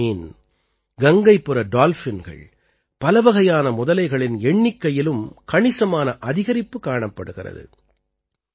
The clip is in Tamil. ஹில்ஸா மீன் கங்கைப்புற டால்ஃபின்கள் பலவகையான முதலைகளின் எண்ணிக்கையிலும் கணிசமான அதிகரிப்பு காணப்படுகிறது